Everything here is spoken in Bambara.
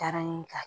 Taara n ka